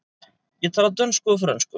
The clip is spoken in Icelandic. Ég tala dönsku og frönsku.